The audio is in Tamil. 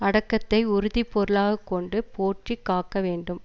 அடக்கத்தை உறுதி பொருளாக கொண்டு போற்றி காக்க வேண்டும்